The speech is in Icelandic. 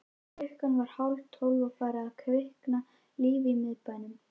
Klukkan var hálftólf og farið að kvikna líf í miðbænum.